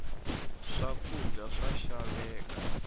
swakudya swa xaveka